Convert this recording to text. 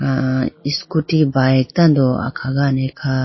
sah scooty bike tando akhagane kha.